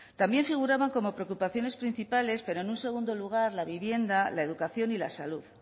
también figuraba como preocupaciones principales pero en un segundo lugar la vivienda la educación y la salud